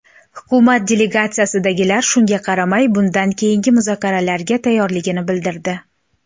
Hukumat delegatsiyasidagilar shunga qaramay, bundan keyingi muzokaralarga tayyorligini bildirdi.